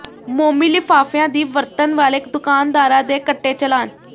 ਮੋਮੀ ਲਿਫਾਫਿਆਂ ਦੀ ਵਰਤਣ ਵਾਲੇ ਦੁਕਾਨਦਾਰਾਂ ਦੇ ਕੱਟੇ ਚਲਾਨ